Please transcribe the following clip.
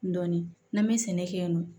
Dɔnni n'an bɛ sɛnɛ kɛ yen nɔ